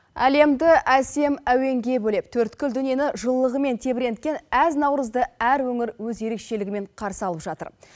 әлемді әсем әуенге бөлеп төрткүл дүниені жылылығымен тебіренткен әз наурызды әр өңір өз ерекшелігімен қарсы алып жатыр